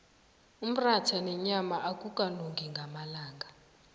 umratha nenyama akukalungi ngamalanga